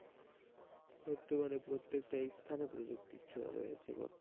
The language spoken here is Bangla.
বর্তমানে প্রত্যেকটি স্থানে প্রযুক্তির ছোঁয়া রয়েছে,